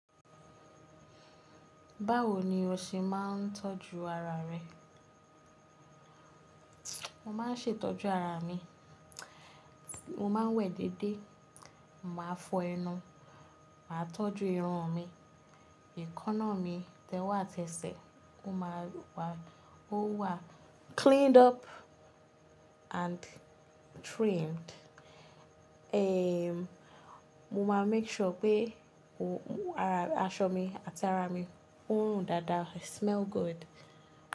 Báwo ni o ṣe máa ń tọ́jú ara rẹ? Mo máa ń ṣe ìtọ́jú ara mi, mo máa ń wẹ̀ déédé, màá fọ ẹnu, màá tọ́jú irun mi, èékánná mi, tẹ̀wo àti tẹ́ṣẹ̀, ó máa wà, ó wà cleaned up and trimmed. Eh, mo máa make sure pé o, ara, aṣọ mi, ataara mi, ó run dáadáa, i smell good.